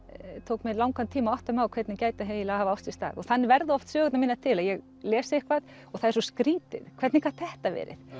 tók mig langan tíma að átta mig á hvernig gæti eiginlega hafa átt sér stað þannig verða oft sögurnar mínar til að ég les eitthvað og það er svo skrýtið hvernig gat þetta verið